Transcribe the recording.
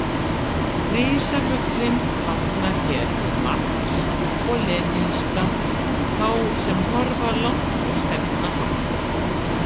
Risafuglinn táknar hér marx- og lenínista, þá sem horfa langt og stefna hátt.